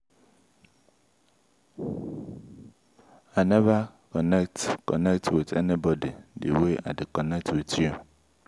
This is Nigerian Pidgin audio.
i no believe i no believe say i dey think about you every time. why?